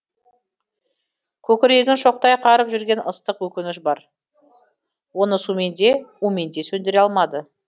көкірегін шоқтай қарып жүрген ыстық өкініш бар оны сумен де умен де сөндіре алмады